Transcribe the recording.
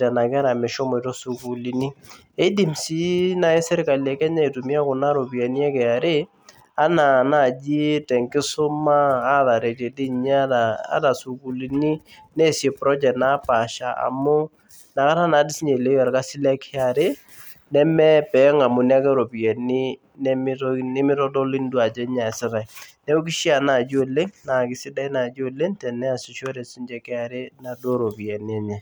nena kera meshomoito sukuulini keidim sii naaji serkali e Kenya aitumiya kuna ropiyiani e KRA enaa naaaji tenkisuma ataretie dii ninye ata isukuulini neesie project napaasha amu inakata naadoi sii ninche esidanu orkasi le KRA nemepeeng'amuni ake iropiyiani nemeitodoluni ajo nyoo eesitai neeku keishia naaji oleng teneesishore sii ninche KRA inaduo roping enye